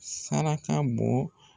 Saraka bɔ